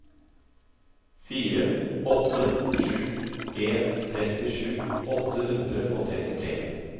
fire åtte sju en trettisju åtte hundre og trettitre